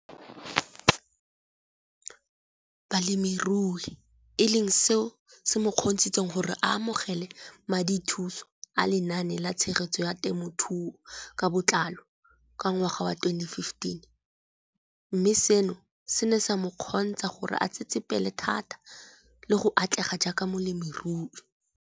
Balemirui e leng seo se mo kgontshitseng gore a amogele madithuso a Lenaane la Tshegetso ya Te mothuo ka Botlalo, CASP] ka ngwaga wa 2015, mme seno se ne sa mo kgontsha gore a tsetsepele thata le go atlega jaaka molemirui.